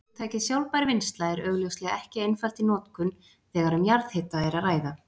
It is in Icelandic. Hugtakið sjálfbær vinnsla er augljóslega ekki einfalt í notkun þegar um jarðhita er að ræða.